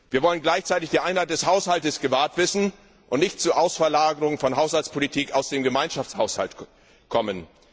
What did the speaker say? Wir wollen gleichzeitig die Einheit des Haushalts gewahrt wissen und nicht zur Auslagerung von Haushaltspolitik aus dem Gemeinschaftshaushalt kommen.